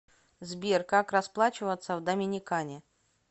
сбер как расплачиваться в доминикане